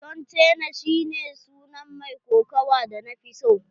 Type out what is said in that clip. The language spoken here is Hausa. John Cena shi ne sunan mai kokawa da nafi so.